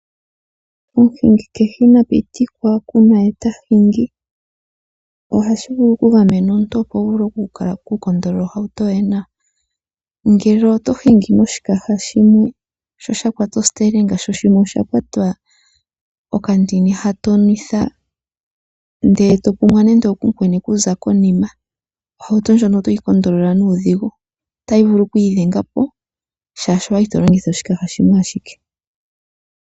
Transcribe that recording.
Omuhingi ina pitikwa okunwa ye ta hingi. Ohashi vulu okugamena omuntu opo wu vule okupangela ohauto yoye nawa. Ngele oto hingi noshikaha shimwe sha kwata ositelinga sho shimwe osha kwata okandini ha to nwitha, ndele to pumwa kumukweni okuza konima, ohauto ndjoka oto yi pangele nuudhigu. Otayi vulu oku idhenga po, oshoka owa li to longitha oshikaha shimwe.